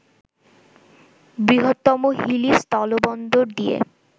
বৃহত্তম হিলি স্থলবন্দর দিয়ে